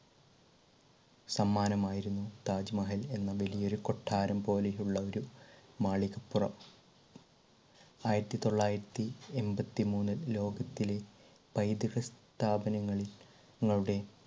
സമ്മാനമായിരുന്നു താജ്മഹൽ എന്ന വലിയ ഒരു കൊട്ടാരം പോലെയുള്ള ഒരു മാളികപ്പുറം. ആയിരത്തിതൊള്ളായിരത്തി എൺപത്തിമൂന്നിൽ ലോകത്തിലെ പൈതൃക സ്ഥാപനങ്ങളിൽ~ങ്ങളുടെ